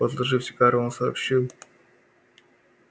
отложив сигару он сообщил